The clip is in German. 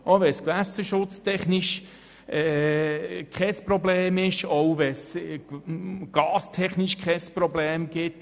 auch wenn es keine gewässerschutz- oder gastechnischen Probleme gibt.